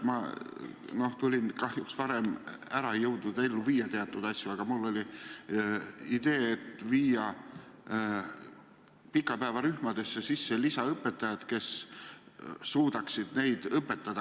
Ma tulin kahjuks koolist varem ära, ei jõudnud teatud asju ellu viia, aga mul oli idee võtta pikapäevarühmadesse tööle lisaõpetajad, kes suudaksid lapsi aidata.